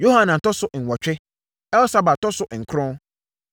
Yohanan tɔ so nwɔtwe, Elsabad tɔ so nkron.